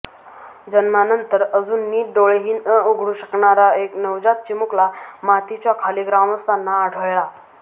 जन्मानंतर अजून नीट डोळेही न उघडू शकणारा एक नवजात चिमुकला मातीच्या खाली ग्रामस्थांना आढळला